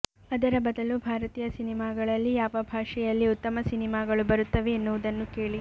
ಅದರ ಬದಲು ಭಾರತೀಯ ಸಿನಿಮಾಗಳಲ್ಲಿ ಯಾವ ಭಾಷೆಯಲ್ಲಿ ಉತ್ತಮ ಸಿನಿಮಾಗಳು ಬರುತ್ತಿವೆ ಎನ್ನುವುದನ್ನು ಕೇಳಿ